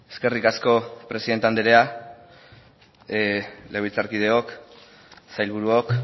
eskerrik asko presidente andrea legebiltzarkideok sailburuok